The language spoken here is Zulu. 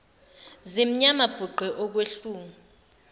zimnyama bhuqe okwehlungu